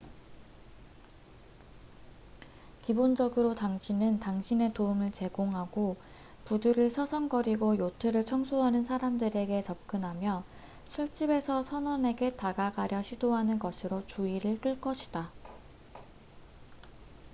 기본적으로 당신은 당신의 도움을 제공하고 부두를 서성거리고 요트를 청소하는 사람들에게 접근하며 술집에서 선원에게 다가가려 시도하는 것으로 주의를 끌것이다